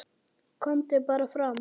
KOMDU BARA FRAM